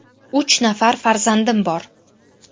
– Uch nafar farzandim bor.